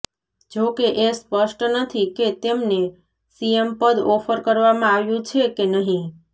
જો કે એ સ્પષ્ટ નથી કે તેમને સીએમ પદ ઑફર કરવામાં આવ્યુ છે કે નહિ